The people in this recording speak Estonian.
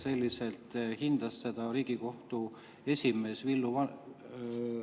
Selliselt hindas teda Riigikohtu esimees Villu Vane …